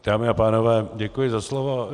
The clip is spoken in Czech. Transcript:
Dámy a pánové, děkuji za slovo.